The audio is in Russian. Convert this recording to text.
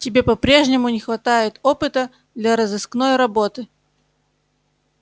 тебе по-прежнему не хватает опыта для розыскной работы